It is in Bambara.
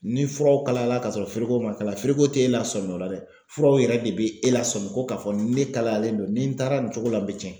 Ni fura kalayala ka sɔrɔ feereko ma kalafili ko te e la sɔmi ola dɛ furaw yɛrɛ de be e lasɔmi ko ka fɔ ni ne kalayalen don ni n taara nin cogo la a be tiɲɛ.